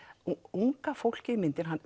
unga fólkið í myndinni